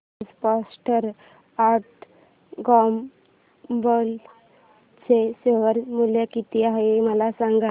आज Procter and Gamble चे share मूल्य किती आहे मला सांगा